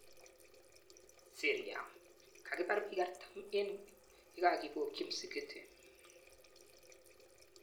Syria:Kakipar piik 40 eng yekakipokchi msikiti